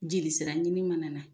Jeli sira ɲini mana na